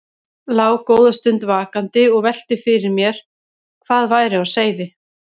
Lá góða stund vakandi og velti fyrir mér hvað væri á seyði.